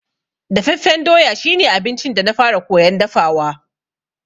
Dafaffen doya shi ne abincin da na fara koyan dafawa.